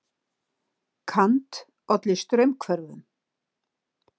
Kant olli straumhvörfum.